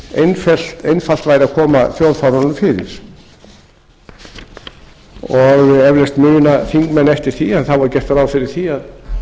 hversu einfalt væri að koma þjóðfánanum fyrir og eflaust muna þingmenn eftir því að þá var gert ráð fyrir því að